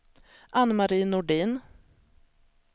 Ann-Marie Nordin